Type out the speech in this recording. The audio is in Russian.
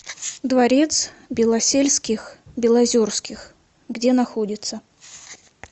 дворец белосельских белозерских где находится